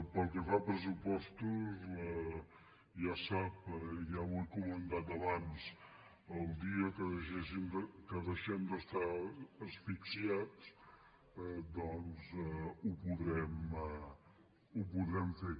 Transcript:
pel que fa a pressupostos ja sap ja ho he comentat abans el dia que deixem d’estar asfixiats doncs ho podrem fer